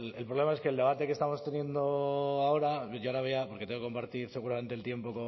bueno el problema es que el debate que estamos teniendo ahora yo ahora voy a porque tengo compartir seguramente el tiempo